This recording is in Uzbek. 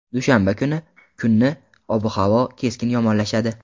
Dushanba kuni kuni ob-havo keskin yomonlashadi.